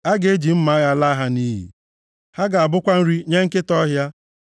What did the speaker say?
A ga-eji mma agha laa ha nʼiyi, ha ga-abụkwa nri nye nkịta ọhịa.